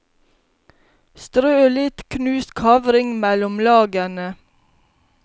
Strø litt knust kavring mellom lagene.